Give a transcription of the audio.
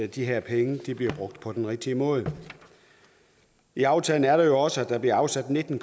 de her penge bliver brugt på den rigtige måde i aftalen er der jo også at der bliver afsat nitten